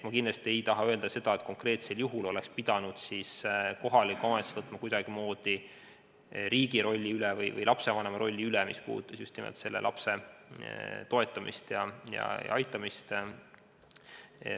Ma kindlasti ei taha öelda seda, et konkreetsel juhul oleks pidanud kohalik omavalitsus võtma kuidagimoodi üle riigi või lapsevanema rolli, mis puudutas just nimelt selle lapse toetamist ja aitamist.